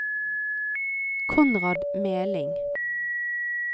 Konrad Meling